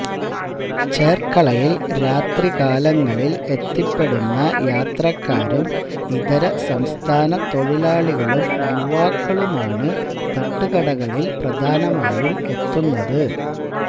ചെര്ക്കളയില് രാത്രികാലങ്ങളില് എത്തിപ്പെടുന്ന യാത്രക്കാരും ഇതര സംസ്ഥാന തൊഴിലാളികളും യുവാക്കളുമാണ് തട്ടുകടകളില് പ്രധാനമായും എത്തുന്നത്